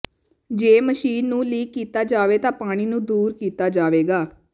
ਜੇ ਮਸ਼ੀਨ ਨੂੰ ਲੀਕ ਕੀਤਾ ਜਾਵੇ ਤਾਂ ਪਾਣੀ ਨੂੰ ਦੂਰ ਕੀਤਾ ਜਾਵੇਗਾ